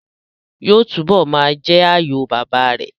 Yóò túbọ̀ ma jẹ́ àyò bàbá rẹ̀